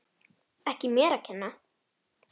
Ekki mér að kenna!